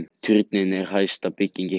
Turninn er hæsta bygging í heimi